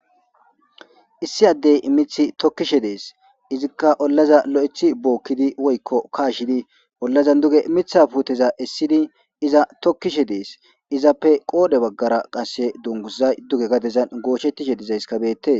Issi Adey mith tokishe Desi, izka ollazan lo'eth bookidi woyko kashid ollazan duge Mithaza esidi eza tokishe Des, izappe qodhe bagara qase dunguzyi duge gadera gochetishe dizaysakka betesi.